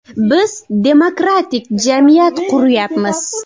Biz demokratik jamiyat quryapmiz.